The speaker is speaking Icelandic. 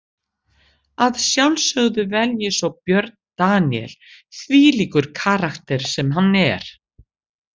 Að sjálfsögðu vel ég svo Björn Daníel, þvílíkur karakter sem hann er.